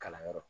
Kalanyɔrɔ